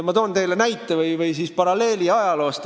Ma toon teile paralleeli ajaloost.